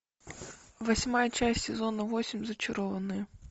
восьмая часть сезона восемь зачарованные